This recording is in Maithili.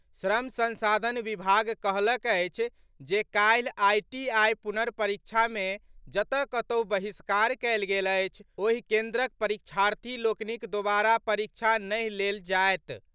श्रम संसाधन विभाग कहलक अछि जे काल्हि आईटीआईक पुनर्परीक्षा मे जतऽ कतहु बहिष्कार कयल गेल अछि ओहि केन्द्रक परीक्षार्थी लोकनिक दोबारा परीक्षा नहि लेल जायत।